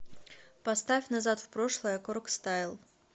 поставь назад в прошлое коргстайл